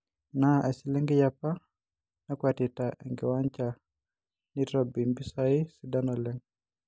Enaa eselenkei apa nakwetika enkiwanja neitobi mpisai sidan leng'